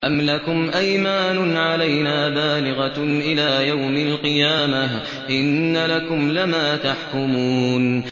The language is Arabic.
أَمْ لَكُمْ أَيْمَانٌ عَلَيْنَا بَالِغَةٌ إِلَىٰ يَوْمِ الْقِيَامَةِ ۙ إِنَّ لَكُمْ لَمَا تَحْكُمُونَ